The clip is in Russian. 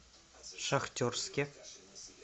шахтерске